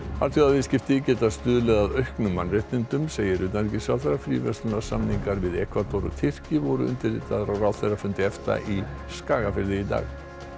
alþjóðaviðskipti geta stuðlað að auknum mannréttindum segir utanríkisráðherra fríverslunarsamningar við Ekvador og Tyrki voru undirritaðir á ráðherrafundi EFTA í Skagafirði í dag